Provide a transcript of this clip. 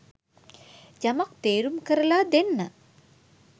යමක් තේරුම් කරලා දෙන්න